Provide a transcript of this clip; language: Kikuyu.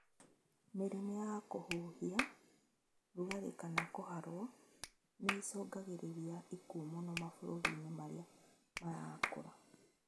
Mĩrimũ ya kùhuhia, rugarĩ kana kũharwo nĩicungagĩrĩria ikuũ mũno mabũrũri marĩa marakũra